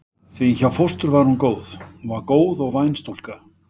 Því hjá fóstru var hún góð, hún var góð og væn stúlka.